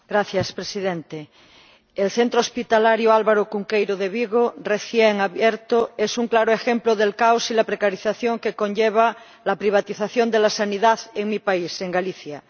Señor Presidente, el centro hospitalario Álvaro Cunqueiro de Vigo, recién abierto, es un claro ejemplo del caos y la precarización que conlleva la privatización de la sanidad en mi país, en Galicia.